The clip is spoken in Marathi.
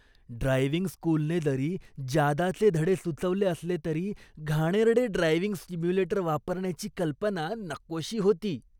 ड्रायव्हिंग स्कूलने जरी जादाचे धडे सुचवले असले तरी, घाणेरडे ड्रायव्हिंग सिम्युलेटर वापरण्याची कल्पना नकोशी होती.